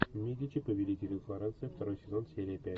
медичи повелители флоренции второй сезон серия пять